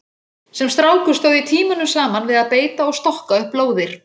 Sem strákur stóð ég tímunum saman við að beita og stokka upp lóðir.